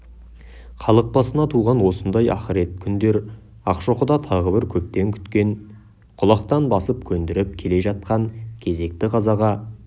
халық басына туған осындай ақырет күндер ақшоқыда тағы бір көптен күткен құлақтан басып көндіріп келе жатқан кезекті қазаға